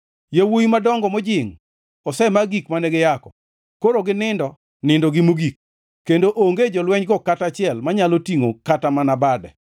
Yawuowi madongo mojingʼ osema gik mane giyako koro ginindo nindogi mogik; kendo onge jolwenygo kata achiel, manyalo tingʼo kata mana bade.